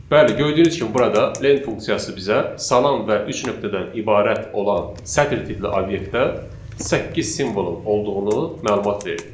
Bəli, gördüyünüz kimi burada len funksiyası bizə salam və üç nöqtədən ibarət olan sətr tipli obyektdə səkkiz simvolun olduğunu məlumat verdi.